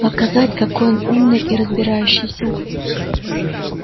показать какой он умный и разбирающийся